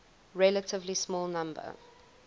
relatively small number